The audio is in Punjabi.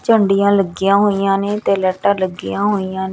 ਝੰਡੀਆਂ ਲੱਗੀਆਂ ਹੋਈਆਂ ਨੇ ਤੇ ਲੈਟਾਂ ਲੱਗੀਆਂ ਹੋਈਆਂ ਨੇ।